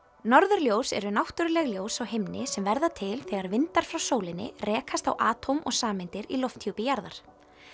norðurljós eru náttúruleg ljós á himni sem verða til þegar vindar frá sólinni rekast á og sameindir í lofthjúpi jarðar